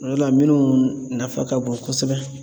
O de la minnu nafa ka bon kosɛbɛ.